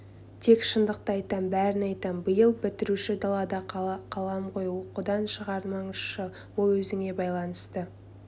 тек шындықты айтам бәрін айтам биыл бітіруші далада қалам ғой оқудан шығартпаңыздаршы ол өзіңе байланысты